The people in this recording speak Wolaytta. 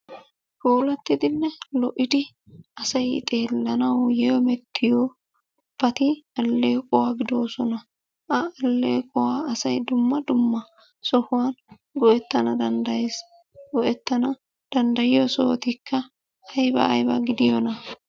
Puulattidinne lo'idi asay xeellanawu yeemottoyobati alleequwa gidoosona. Ha alleequwa asay dumma dumma sohuwan go'ettana danddayees. Go'ettana danddayiya sohotikka ayibaa ayibaa gidiyonaa?